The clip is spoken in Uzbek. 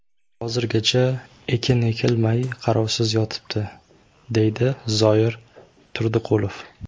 Hozirgacha ekin ekilmay, qarovsiz yotibdi”, deydi Zoir Turdiqulov.